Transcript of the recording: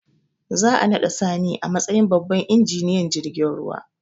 Za a naɗa sani a matsayin babban injiniyan jirgin ruwa